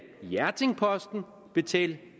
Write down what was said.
betale